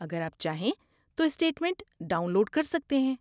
اگر آپ چاہیں تو، اسٹیٹ منٹ ڈاؤن لوڈ کر سکتے ہیں۔